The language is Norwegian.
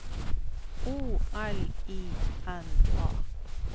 O L I N A